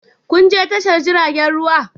Kun je tashar jiragen ruwa?